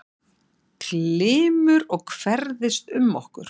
Glymur og hverfist um okkur.